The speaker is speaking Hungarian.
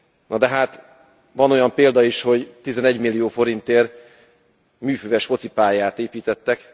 Na, de hát van olyan példa is, hogy 11 millió forintért műfüves focipályát építettek.